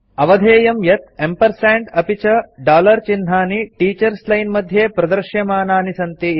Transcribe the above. अवधेयं यत् एम्प् अपि च चिह्नानि टीचर्स लाइन मध्ये प्रदृश्यमानानि सन्ति इति